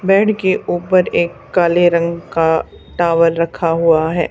Bed के ऊपर एक काले रंग का टॉवल रखा हुआ है।